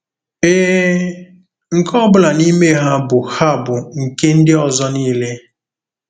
Ee, nke ọ bụla n'ime ha bụ ha bụ nke ndị ọzọ niile.